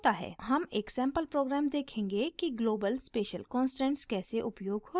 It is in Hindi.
हम एक सैंपल प्रोग्राम देखेंगे कि global special constants कैसे उपयोग होते हैं